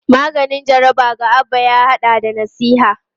Maganin jaraba ga Abba ya hada da nasiha.